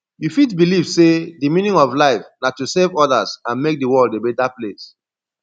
you fit believe say di meaning of life na to serve others and make di world a beta place